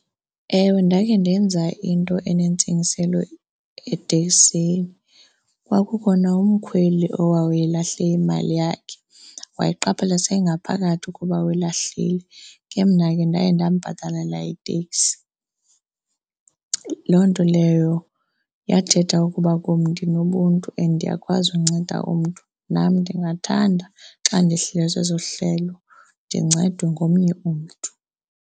Ewe, ndakhe ndenza into enentsingiselo eteksini. Kwakukhona umkhweli owayelahle imali yakhe, wayiqaphela seyingaphakathi ukuba uyilahlile. Ke mna ke ndaye ndambhatalela itekisi. Loo nto leyo yathetha ukuba kum ndinobuntu and iyakwazi unceda umntu. Nam ndingathanda xa ndihlelwe seso sihlelo ndincedwe ngomnye umntu.